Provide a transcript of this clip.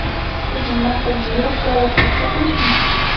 Sizning maqsadingiz provokatsiya qilishmi?